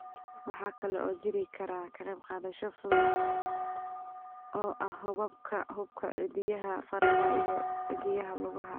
Waxa kale oo jiri kara ka qaybqaadasho fudud oo ah xuubabka xuubka, cidiyaha faraha iyo cidiyaha lugaha.